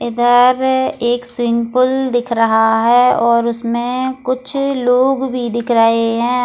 इधर एक स्विंग पुल दिख रहा है और उसमें कुछ लोग भी दिख रहे हैं ।